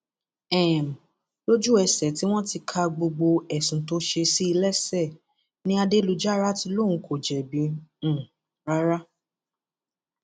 um lójúẹsẹ tí wọn ti ka gbogbo ẹsùn tó ṣe sí i lẹsẹ ni adélujára ti lóun kò jẹbi um rárá